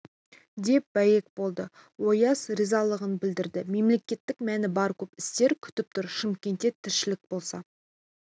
деп бәйек болды ояз ризалығын білдірді мемлекеттік мәні бар көп істер күтіп тұр шымкентте тіршілік болса